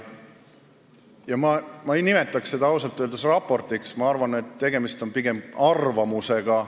Ja ma ei nimetaks seda ausalt öeldes raportiks, ma arvan, et tegemist on pigem arvamusega.